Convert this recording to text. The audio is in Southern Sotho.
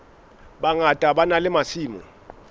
bangata ba na le masimo